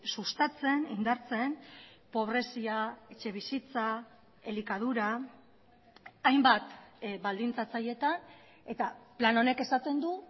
sustatzen indartzen pobrezia etxebizitza elikadura hainbat baldintzatzailetan eta plan honek esaten du